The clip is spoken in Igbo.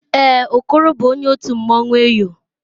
Èè, Okoro bụ onye otu mmanwụ Eyọ.